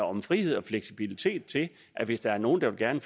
om frihed og fleksibilitet til at hvis der er nogen der gerne